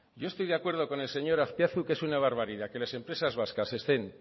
yo estoy de acuerdo con el señor azpiazu que es una barbaridad que las empresas vascas